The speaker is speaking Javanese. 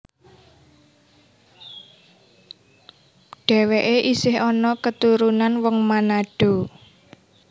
Dhèwèké isih ana keturunan wong Manado